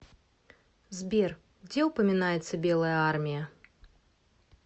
сбер где упоминается белая армия